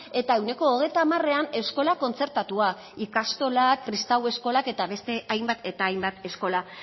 eta ehuneko hogeita hamarean eskola kontzertatua ikastolak kristau eskolak eta beste hainbat eta hainbat eskola